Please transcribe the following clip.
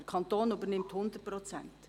Der Kanton übernimmt 100 Prozent.